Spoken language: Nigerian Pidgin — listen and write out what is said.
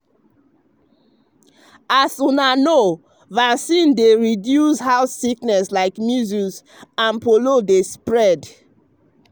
as una know vaccine dey um reduce how disease like measles and polio dey spread.